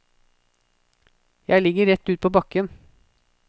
Jeg ligger rett ut på bakken.